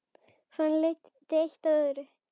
Þannig leiddi eitt af öðru.